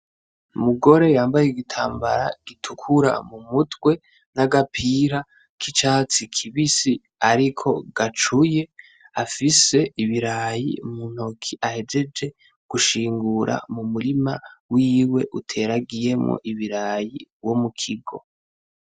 Umugore yambaye igitambara gitukura mu mutwe n’agapira k’icatsi kibisi ariko gacuye afise ibirayi mu ntoki ahejeje gushingura mu murima wiwe uteragiyemwo ibirayi wo mukigo .